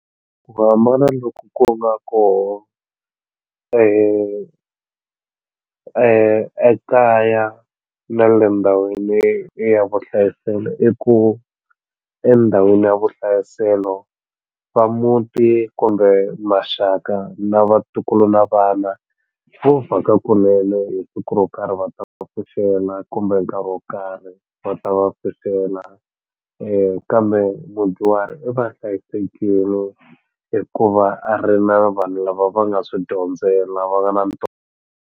Ku hambana loku ku nga kona ekaya na le ndhawini ya vuhlayiselo i ku endhawini ya vuhlayiselo va muti kumbe maxaka na vatukulu na vana vo vhaka kunene hi siku ro karhi va ta va pfuxela kumbe nkarhi wo karhi va ta va pfuxela kambe mudyuhari i va hlayisekini hi ku va a ri na vanhu lava va nga swi dyondzela va nga na .